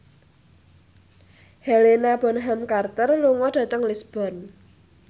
Helena Bonham Carter lunga dhateng Lisburn